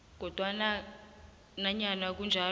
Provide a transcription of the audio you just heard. kodwanake nanyana kunjalo